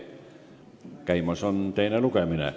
Käimas on teine lugemine.